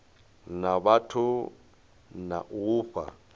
na vhathu na u fha